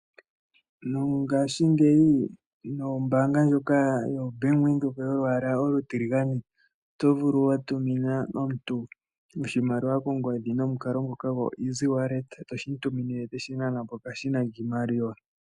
Mongashingeyi nombaanga ndjoka yoBank Windhoek yolwaala olutilagane oto vulu wa tumina omuntu oshimaliwa kongodhi nomukalo ngoka goeasy wallet, toshi mu tumine teshi nana ko peshina lyiimaliwa.